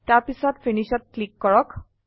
তাৰপিছত Finishত ক্লীক কৰক